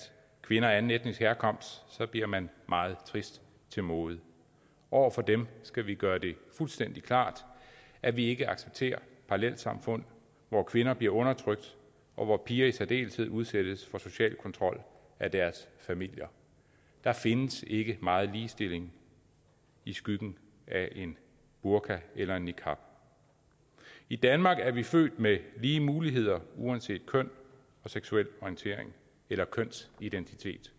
kvinder af anden etnisk herkomst bliver man meget trist til mode over for dem skal vi gøre det fuldstændig klart at vi ikke accepterer parallelsamfund hvor kvinder bliver undertrykt og hvor piger i særdeleshed udsættes for social kontrol af deres familier der findes ikke meget ligestilling i skyggen af en burka eller en niqab i danmark er vi født med lige muligheder uanset køn og seksuel orientering eller kønsidentitet